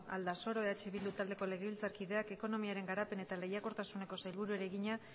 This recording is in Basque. aldasoro eh bildu taldeko legebiltzarkideak ekonomiaren garapen eta lehiakortasuneko sailburuari egina